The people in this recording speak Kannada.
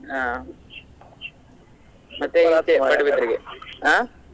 ಹಾ ಮತ್ತೆ ಅದೇ Padubidri ಗೆ ಹಾ.